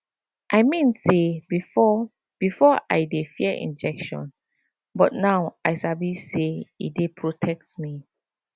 i mean say before before i dey fear injection but now i sabi say e dey protect me